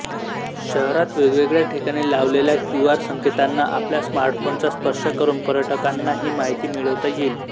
शहरात वेगवेगळ्या ठिकाणी लावलेल्या क्यूआर संकेतांना आपल्या स्मार्टफोनचा स्पर्श करून पर्यटकांना ही माहिती मिळविता येईल